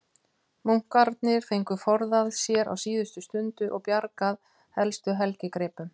Munkarnir fengu forðað sér á síðustu stundu og bjargað helstu helgigripum.